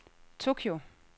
Tokyo